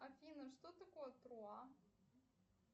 афина что такое труа